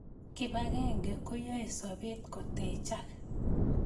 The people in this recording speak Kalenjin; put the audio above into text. Kibakenge koyoi sobet kotechak